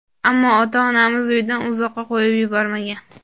Ammo ota-onamiz uydan uzoqqa qo‘yib yubormagan.